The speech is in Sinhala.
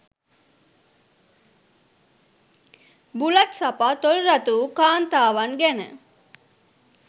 බුලත් සපා තොල් රතු වූ කාන්තාවන් ගැන